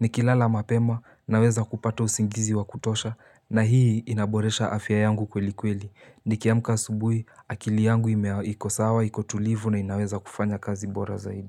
Nikilala mapema naweza kupata usingizi wa kutosha na hii inaboresha afya yangu kweli kweli. Nikiamka asubuhi akili yangu ime iko sawa, iko tulivu na inaweza kufanya kazi bora zaidi.